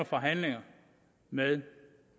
forhandlinger med